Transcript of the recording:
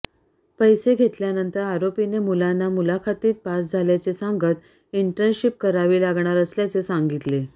पैसे घेतल्यानंतर आरोपीने मुलांना मुलाखतीत पास झाल्याचे सांगत इंटर्नशिप करावी लागणार असल्याचे सांगितले